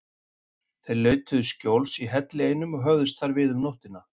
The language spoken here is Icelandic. Þeir leituðu skjóls í helli einum og höfðust þar við um nóttina.